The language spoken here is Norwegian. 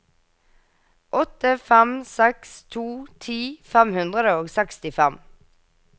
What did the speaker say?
åtte fem seks to ti fem hundre og sekstifem